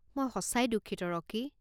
মই সঁচাকৈ দুঃখিত ৰকী।